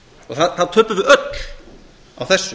og það töpuðu öll á þessu